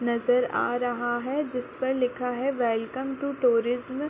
नज़र आ रहा है जिस पर लिखा है वेलकम टु टूरिज्म --